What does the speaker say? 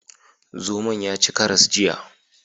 Zomon ya ci karas jiya.